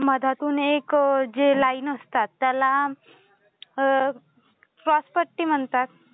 मधातून एक जे लाईन असतात त्याला श्वासपट्टी म्हणतात